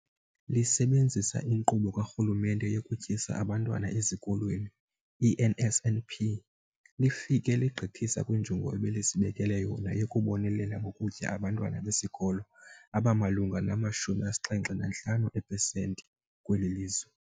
Lisebenzisa iNkqubo kaRhulumente yokuTyisa Abantwana Ezikolweni, i-NSNP, lifike legqithisa kwinjongo ebelizibekele yona yokubonelela ngokutya abantwana besikolo abamalunga nama-75 beepesenti kweli lizwe.